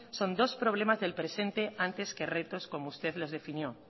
son dos problemas del presente antes que retos como usted los definió